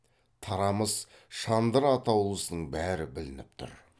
тарамыс шандыр атаулысының бәрі білініп тұр